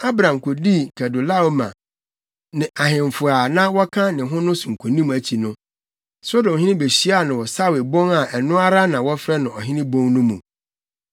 Abram kodii Kedorlaomer ne ahemfo a na wɔka ne ho no so nkonim akyi no, Sodomhene behyiaa no wɔ Sawe bon a ɛno ara na wɔfrɛ no Ɔhene Bon no mu.